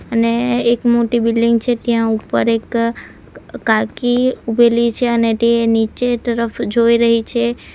અને એક મોટી બિલ્ડીંગ છે ત્યાં ઉપર એક કાકી ઊભેલી છે અને ટે નીચે ટરફ જોઈ રહી છે.